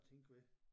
Tænke ved